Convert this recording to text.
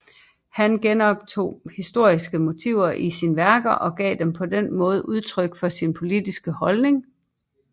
Han genoptog historiske motiver i sine værker og gav på den måde udtryk for sine politiske holdninger